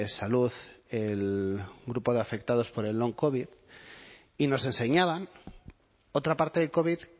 salud el grupo de afectados por el oncovid y nos enseñaban otra parte del covid